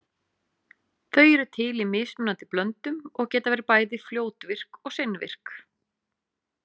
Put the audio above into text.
Þau eru til í mismunandi blöndum og geta verið bæði fljótvirk og seinvirk.